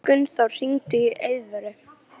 Gunnþór, hringdu í Eiðvöru.